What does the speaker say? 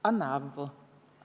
Anna avvu!